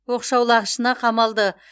оқшаулағышына қамалды